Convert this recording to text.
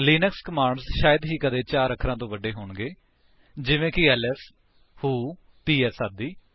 Linux commands ਸ਼ਾਇਦ ਹੀ ਕਦੇ 4 ਅਖਰਾਂ ਤੋਂ ਵੱਡੇ ਹੋਣਗੇ ਜਿਵੇਂ ਕਿ ਐਲਐਸ ਵ੍ਹੋ ਪੀਐਸ ਆਦਿ